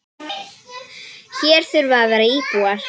Hér þurfa að vera íbúar.